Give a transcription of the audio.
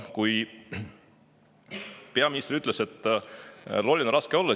Peaminister ütles, et loll on raske olla.